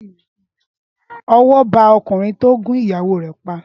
Ọwọ́ ba ọkùnrin tó gún ìyàwó rẹ̀ pa